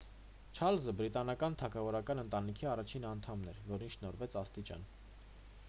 չառլզը բրիտանական թագավորական ընտանիքի առաջին անդամն էր որին շնորհվեց աստիճան